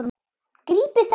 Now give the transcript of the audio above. Grípið þau!